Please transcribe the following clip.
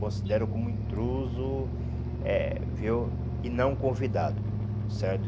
Considero como intruso eh viu e não convidado, certo?